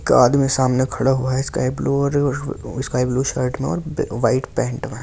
एक आदमी सामने खड़ा हुआ है स्काई ब्लू और स्काई ब्लू शर्ट में और वाइट पेंट में ।